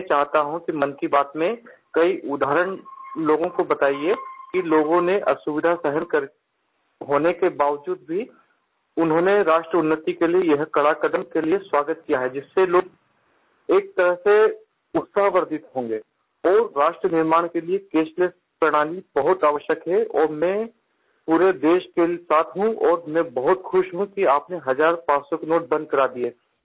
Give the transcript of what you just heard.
मैं चाहता हूँ कि मन की बात में कई उदाहरण लोगों को बताइए कि लोगों ने असुविधा सहन करने के बावजूद भी उन्होंने राष्ट्र उन्नति के लिये यह कड़ा क़दम के लिए स्वागत किया है जिससे लोग एक तरह से उत्साहवर्द्धित होंगे और राष्ट्र निर्माण के लिए कैशलेस प्रणाली बहुत आवश्यक है और मैं पूरे देश के साथ हूँ और मैं बहुत खुश हूँ कि आपने हज़ारपाँच सौ के नोट बंद करा दिए